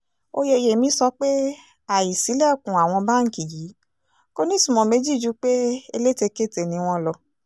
oyeyèmí sọ pé àìsílèkùn àwọn báǹkì yìí kò nítumọ̀ méjì ju pé elétekéte ni wọ́n lọ